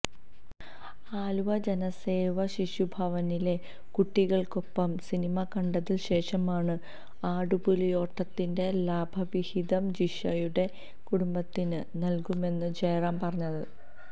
ആലുവ ജനസേവ ശിശുഭവനിലെ കുട്ടികള്ക്കൊപ്പം സിനിമ കണ്ടതിന് ശേഷമാണ് ആടുപുലിയാട്ടത്തിന്റെ ലാഭവിഹിതം ജിഷയുടെ കുടുംബത്തിന് നൽകുമെന്ന് ജയറാം പറഞ്ഞത്